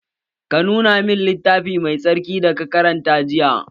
Ka nuna min littafin mai tsarkin da ka karanta jiya!